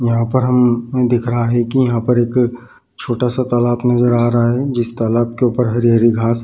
यहाँ पर हम दिख रहा है की यहाँ पर एक छोटा सा तालाब नजर आ रहा है जिस तालाब के ऊपर हरी-हरी घास --